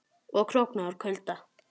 Og að krókna úr kulda.